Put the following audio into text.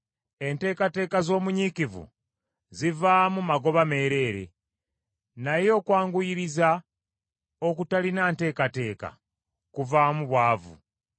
Enteekateeka z’omunyiikivu zivaamu magoba meereere, naye okwanguyiriza okutalina nteekateeka kuvaamu bwavu.